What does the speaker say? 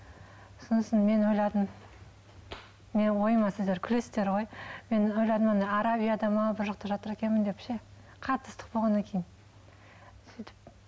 сосын мен ойладым менің ойыма сіздер күлесіздер ғой мен ойладым ана арабияда ма бір жақта жатыр екенмін деп ше қатты ыстық болғаннан кейін сөйтіп